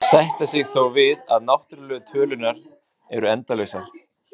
Flestir sætta sig þó við að náttúrlegu tölurnar eru endalausar.